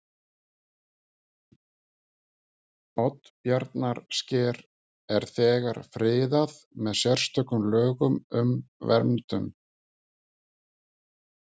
Oddbjarnarsker er þegar friðað með sérstökum lögum um verndun